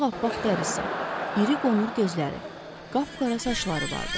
Ağappaq dərisi, iri qonur gözləri, qapqara saçları vardı.